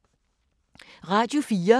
Radio 4